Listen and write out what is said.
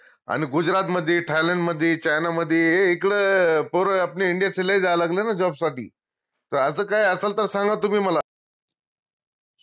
अन गुजरातमध्ये, थायलंडमध्ये, चायनामध्ये हे इकडं पोर आपले indians लय जाया लागले ना job साठी त असं काही असलं त सांगा तुम्ही मला